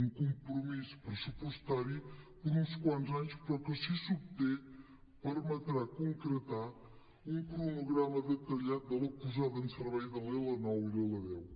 un compromís pressupostari per a uns quants anys però que si s’obté permetrà concretar un cronograma detallat de la posada en servei de la l9 i la l10